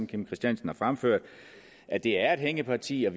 kim christiansen har fremført at det er et hængeparti og